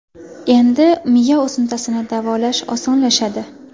Endi miya o‘simtasini davolash osonlashadi.